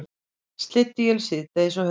Slydduél síðdegis á höfuðborgarsvæðinu